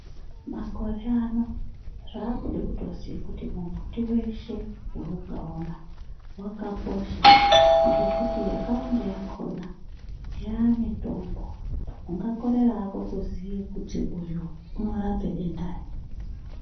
Makore ano zvakuda kutoziya kuti mumbiti weshe waungaona wakakosha ngekuti yakawanda yakona yamitombo ungakorera hako kuziya kuti uyu unorape denda rei .